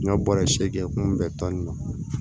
N ka bɔrɔ seegin kɛ kun bɛ tɔni na